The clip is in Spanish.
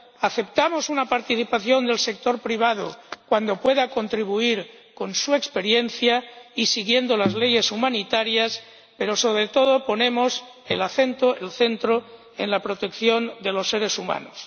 ayuda, aceptamos una participación del sector privado cuando pueda contribuir con su experiencia y de conformidad con las leyes humanitarias, pero, sobre todo, nos centramos en la protección de los seres humanos.